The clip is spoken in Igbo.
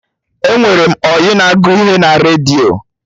Enwere m ọyị na agụ ihe na redio